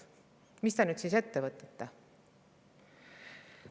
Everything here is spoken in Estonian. Mis te nüüd siis ette võtate?